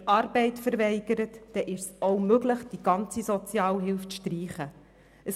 Und wir haben auch gehört, dass es möglich ist, die gesamte Sozialhilfe zu streichen, wenn jemand die Arbeit verweigert.